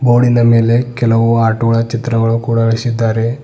ಬೋರ್ಡಿನ ಮೇಲೆ ಕೆಲವು ಆಟೋ ಗಳ ಚಿತ್ರಗಳು ಕೂಡ ಅಳಸಿದ್ದಾರೆ.